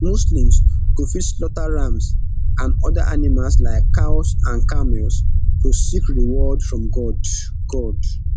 muslim go fit slaughter rams and oda animals like cows and camels to seek reward from god god